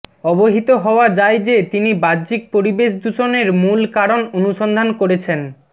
অবহিত হওয়া যায় যে তিনি বাহ্যিক পরিবেশ দূষণের মূল কারণ অনুসন্ধান করেছেন